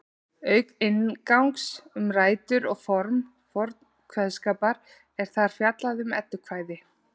Auk inngangs um rætur og form forns kveðskapar er þar fjallað um eddukvæði.